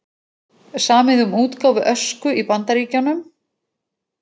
Samið um útgáfu Ösku í Bandaríkjunum